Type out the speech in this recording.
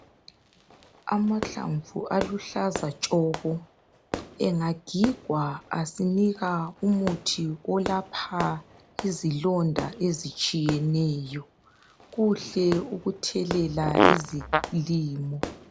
Amahlamvu aluhlaza tshoko engagigwa asinika umuthi olapha izilonda ezitshiyeneyo . Kuhle ukuthelela izilimo.